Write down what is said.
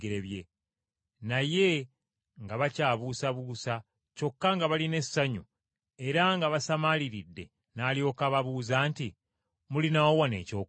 Naye nga bakyabuusabuusa kyokka nga balina essanyu era nga basamaaliridde n’alyoka ababuuza nti, “Mulinawo wano ekyokulya?”